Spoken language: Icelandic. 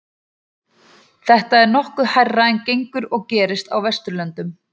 Þetta er nokkuð hærra en gengur og gerist á Vesturlöndum.